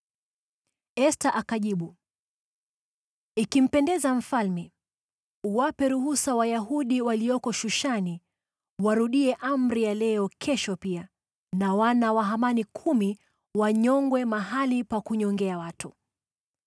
Esta akajibu, “Ikimpendeza mfalme, uwape ruhusa Wayahudi walioko Shushani warudie amri ya leo kesho pia, na wana wa Hamani kumi wanyongwe mahali pa kunyongea watu.”